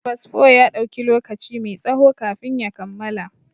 Fasfo ya ɗauki lokaci mai tsaho kafin ya kammala.